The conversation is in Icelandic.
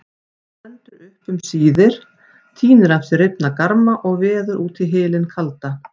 Stendur upp um síðir, tínir af sér rifna garma og veður út í hylinn kaldan.